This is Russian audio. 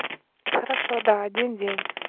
хорошо да один день